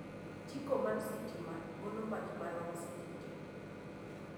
Jiko mar sitima golo mach marom seche tee